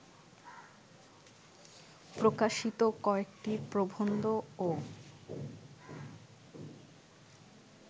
প্রকাশিত কয়েকটি প্রবন্ধও